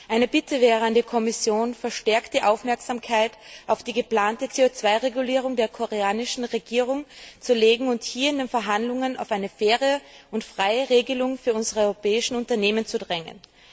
Meine Bitte an die Kommission wäre, verstärkte Aufmerksamkeit auf die geplante CO 2 Regulierung der koreanischen Regierung zu richten und hier in den Verhandlungen auf eine faire und freie Regelung für unsere europäischen Unternehmen zu drängen.